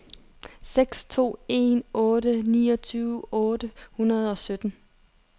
seks to en otte niogtyve otte hundrede og sytten